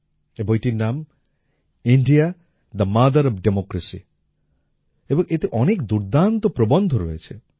এই বইটির নাম India the mother of democracy এবং এতে অনেক দুর্দান্ত প্রবন্ধ রয়েছে